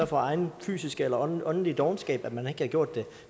for egen fysisk eller åndelig dovenskab at man ikke har gjort det